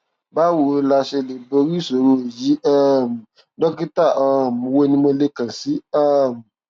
báwo la ṣe lè borí ìṣòro yìí um dókítà um wo ni mo lè kàn sí um